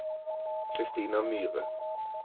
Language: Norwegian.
Christina Myhre